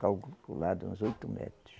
Calculado, uns oito metros.